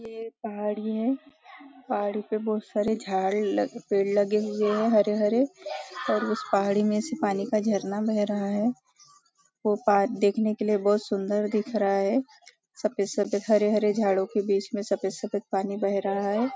ये एक पहाड़ी है पहाड़ी पे बहुत सारे झाड लग पेड़ लगे हुए है हरे हरे और उस पहाड़ी में से पानी का झरना बह रहा है वो देखने के लिए बहुत सुंदर दिख रहा है सफ़ेद सफ़ेद हरे हरे झाडो के बीच में सफ़ेद सफ़ेद पानी बह रहा है।